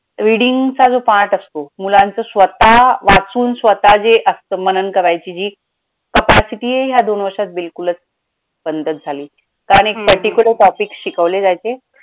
reading चा जो part असतो मुलांचं स्वतः वाचून स्वतः जे असतं मनन करायची जी capacity ह्या दोन वर्षात बिलकुलचं बंद झाली कारण एक particular topic शिकवले जायचे.